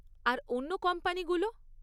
আর অন্য কোম্পানিগুলো?